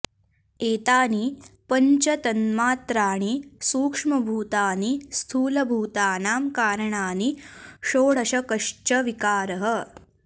एतानि पञ्च तन्मात्राणि सूक्ष्मभूतानि स्थूलभूतानां कारणानि षोडशकश्च विकारः